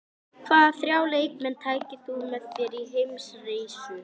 Hvaða þrjá leikmenn tækir þú með þér í heimsreisu?